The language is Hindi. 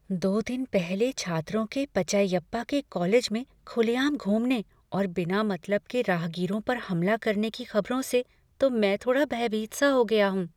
दो दिन पहले छात्रों के पचैयप्पा के कॉलेज में खुलेआम घूमने और बिना मतलब के राहगीरों पर हमला करने की खबरों से तो मैं थोड़ा भयभीत सा हो गया हूँ।